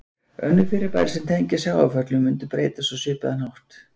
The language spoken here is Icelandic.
Önnur fyrirbæri sem tengjast sjávarföllum mundu breytast á svipaðan hátt.